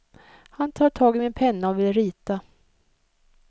Han tar tag i min penna och vill rita.